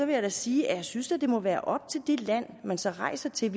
jeg da sige at jeg synes det må være op til det land man så rejser til at